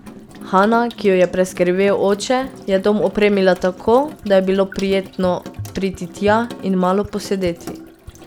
Hana, ki jo je preskrbel oče, je dom opremila tako, da je bilo prijetno priti tja in malo posedeti.